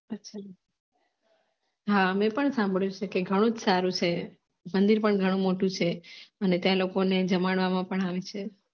હા મે પણ સામભડયુ છે કે ઘણુ જ સારુ છે મંદીર પણ ઘણુ મોટુ છે અને ત્યા લોકો ને જમાડવામા પણ આવે છે